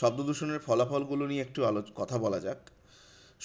শব্দদূষণের ফলাফল গুলো নিয়ে একটু আলোচনা কথা বলা যাক,